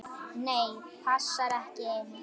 Nei, passar ekki enn!